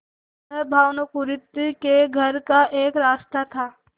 वह भानुकुँवरि के घर का एक रास्ता था